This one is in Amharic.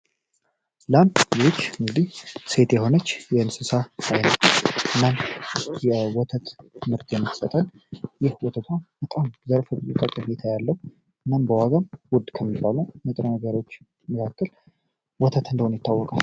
ልማት ሴት የሆነ እንስሳ ስትሆን ትምህርት ለወተት ምርት ከፍተኛ ጠቀሜታ ያለው እናም ዋጋው ውድ የሆነች ሲሆን ተፈላጊነቱ ወተት እንደሆነ ይታወቃል።